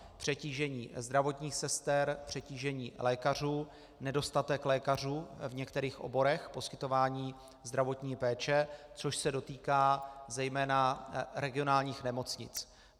Přetížení zdravotních sester, přetížení lékařů, nedostatek lékařů v některých oborech poskytování zdravotní péče, což se dotýká zejména regionálních nemocnic.